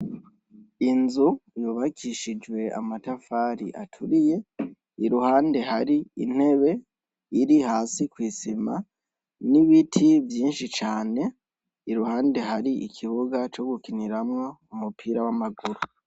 Inzu yubakishijwe amatafari aturiye iruhande hari intebe iri hasi kw'isima n'ibiti vyinshi cane iruhande hari ikibuga co gukiniramwo u mupira w'amaguru.